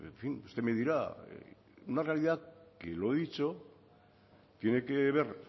fin usted me dirá una realidad que lo he dicho tiene que ver